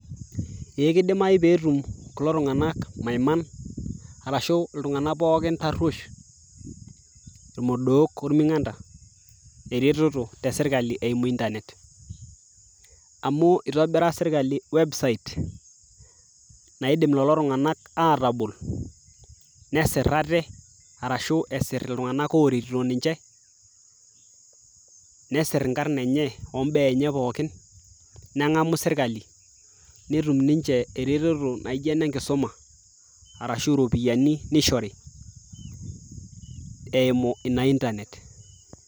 ee kidimai petum kulo tung'anak maiman arashu iltung'anak pookin tarruesh irmodok orming'anda eretoto tesirkali eimu internet amu itobira sirkali website naidim lolo tung'anak atabol nesirr ate arashu esirr iltung'anak oretito ninche nesirr inkarrn enye ombaa enye pookin neng'amu sirkali netum ninche eretoto naijo enenkisuma arashu iropiyiani nishori eimu ina internet.